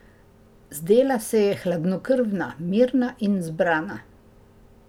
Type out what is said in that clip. Zdela se je hladnokrvna, mirna in zbrana.